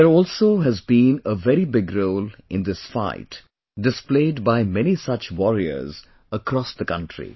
But there also has been a very big role in this fight displayed by many such warriors across the country